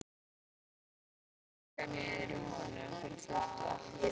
Ég hef þaggað niður í honum fyrir fullt og allt.